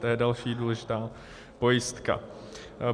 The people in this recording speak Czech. To je další důležitá pojistka.